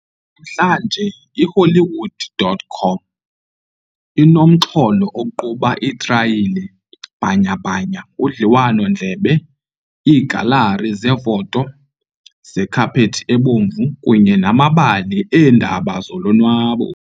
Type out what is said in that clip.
Namhlanje, iHollywood.com inomxholo oquba iitrayila bhanyabhanya, udliwano-ndlebe, iigalari zeefoto zekhaphethi ebomvu kunye namabali eendaba zolonwabo.